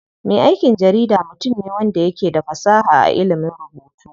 Me aikin jarida mutum ne wanda yake da fasaha a ilimin rubutu.